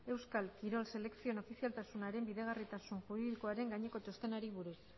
euskal kirol selekzioen ofizialtasunaren bideragarritasun juridikoaren gaineko txostenari buruz